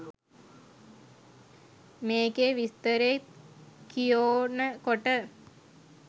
මේකේ විස්තරේ කියෝනකොට